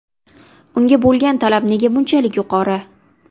Unga bo‘lgan talab nega bunchalik yuqori?